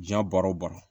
Diɲɛ baara o baara